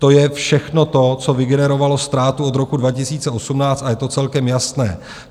To je všechno to, co vygenerovalo ztrátu od roku 2018, a je to celkem jasné.